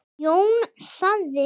Jón sagði